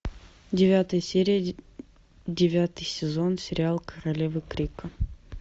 девятая серия девятый сезон сериал королевы крика